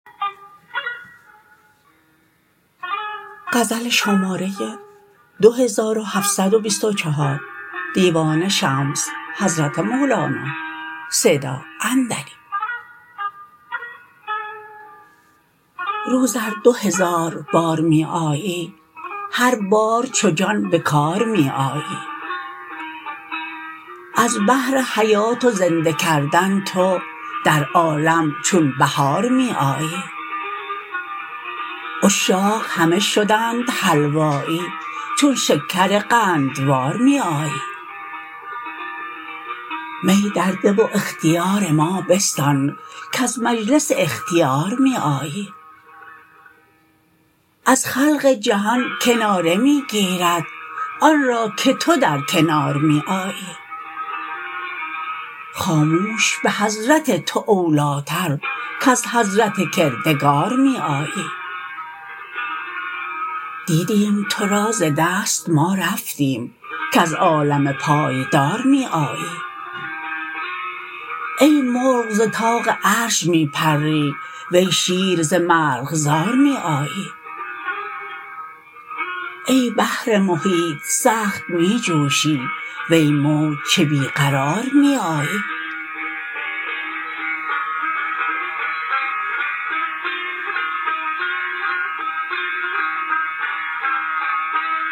روز ار دو هزار بار می آیی هر بار چو جان به کار می آیی از بهر حیات و زنده کردن تو در عالم چون بهار می آیی عشاق همه شدند حلوایی چون شکر قندوار می آیی می درده و اختیار ما بستان کز مجلس اختیار می آیی از خلق جهان کناره می گیرد آن را که تو در کنار می آیی خاموش به حضرت تو اولیتر کز حضرت کردگار می آیی دیدیم تو را ز دست ما رفتیم کز عالم پایدار می آیی ای مرغ ز طاق عرش می پری وی شیر ز مرغزار می آیی ای بحر محیط سخت می جوشی وی موج چه بی قرار می آیی